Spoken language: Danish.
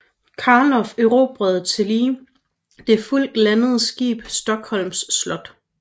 Carlof erobrede tillige det fuldt ladede skib Stockholms Slott